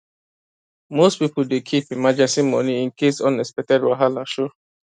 most people dey keep emergency money in case unexpected wahala show